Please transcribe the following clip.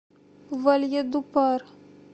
вальедупар